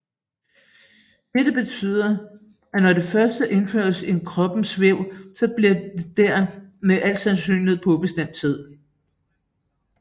Dette betyder at når det først indføres i kroppens væv så forbliver det der med al sandsynlighed på ubestemt tid